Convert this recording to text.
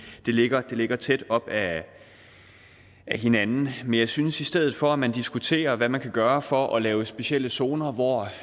det ligger ligger tæt op ad hinanden men jeg synes at i stedet for at man diskuterer hvad man kan gøre for at lave specielle zoner hvor